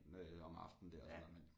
Om aftenen dér og sådan noget men